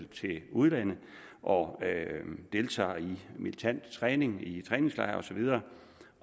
til udlandet og deltager i militant træning i træningslejr og så videre